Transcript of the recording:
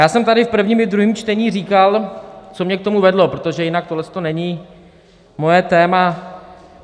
Já jsem tady v prvním i ve druhém čtení říkal, co mě k tomu vedlo, protože jinak tohle není moje téma.